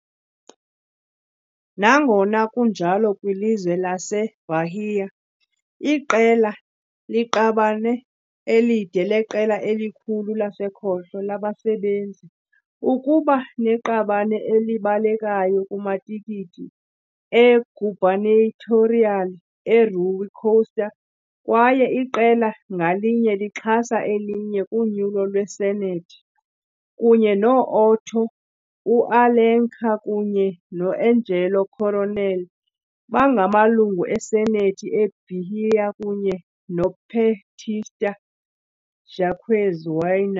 Nangona kunjalo kwilizwe laseBahia, iqela liqabane elide leqela elikhulu lasekhohlo labasebenzi, ukuba neqabane elibalekayo kumatikiti e-gubernatorial e-Rui Costa kwaye iqela ngalinye lixhasa elinye kunyulo lwesenethi, kunye no -Otto UAlencar kunye no-Angelo Coronel bangamalungu eSenethi eBahia kunye "noPetista" Jaques Wagner